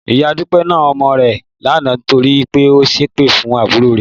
Ìyá Dúpẹ́ na ọmọ rẹ̀ lánàá torí pé ó ṣépè fún àbúrò rẹ̀